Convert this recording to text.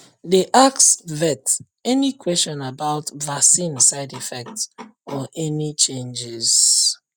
dey ask vet any question about vaccine side effect or any changes